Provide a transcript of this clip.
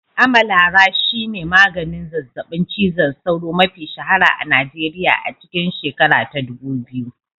Amalara shine maganin zazzabin cizon sauro mafi shahara a Nigeriya a cikin shekara ta dubu biyu